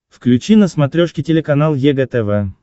включи на смотрешке телеканал егэ тв